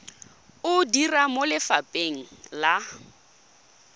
o dira mo lefapheng la